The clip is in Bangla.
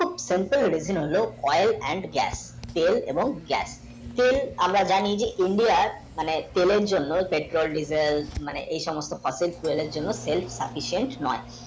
sempel rijine হলো oil and gas তেল এবং গ্যাস তেল আমারা জানি যে india আর মানে তেলের জন্য যে Petrol diesel মানে এই সমস্ত পাটের তেলের জন্য তেল নয়